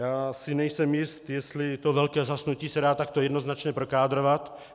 Já si nejsem jist, jestli to velké zhasnutí se dá takto jednoznačně prokádrovat.